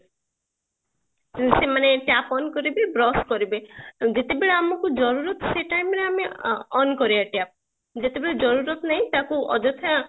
ଉଁ ସେମାନେ ମାନେ tap on କରିବେ brush କରିବେ ତ ଯେତେବେଳେ ଆମକୁ ସେଇ time ରେ ଆମେ on କରିବା tap ଯେତେ ବେଳେ ନାହିଁ ତାକୁ ଅଯଥା